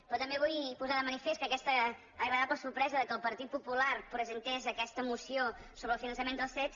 però també vull posar de manifest que aquesta agradable sorpresa que el partit popular presentés aquesta moció sobre el finançament dels cet